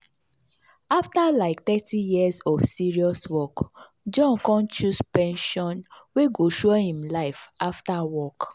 after like thirty years of serious work john con choose pension wey go sure him life after work.